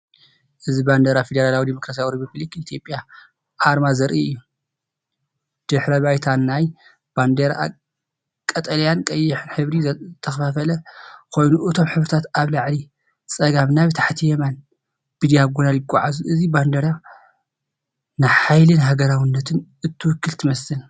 እዚ ባንዴራ ፈደራላዊት ዲሞክራስያዊት ሪፓብሊክ ኢትዮጵያ ኣርማ ዘርኢ እዩ። ድሕረ ባይታ ናይታ ባንዴራ ኣብ ቀጠልያን ቀይሕን ሕብሪ ዝተኸፋፈለ ኮይኑ፡ እቶም ሕብርታት ካብ ላዕሊ ጸጋም ናብ ታሕቲ የማን ብዳያጎናል ይጎዓዙ። እዚ ባንዴራ ንሓይልን ሃገራውነትን እትውክል ትመስል።